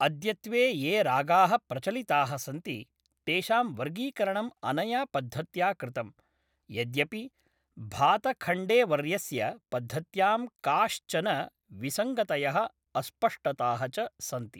अद्यत्वे ये रागाः प्रचलिताः सन्ति, तेषां वर्गीकरणं अनया पद्धत्या कृतम्, यद्यपि भातखण्डेवर्यस्य पद्धत्यां काश्चन विसङ्गतयः, अस्पष्टताः च सन्ति।